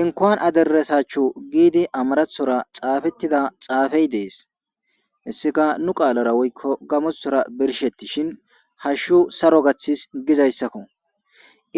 Inkoan aderesaachchu giidi amarathora xaafettida xaafey dees hessika nu qaalora woykko gamothora birshetti shin hashshu saro gaththis gizayssakko